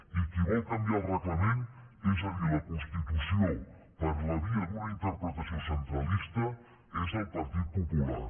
i qui vol canviar el reglament és a dir la constitució per la via d’una interpretació centralista és el partit popular